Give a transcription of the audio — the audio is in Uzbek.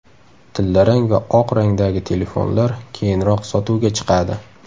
Tillarang va oq rangdagi telefonlar keyinroq sotuvga chiqadi.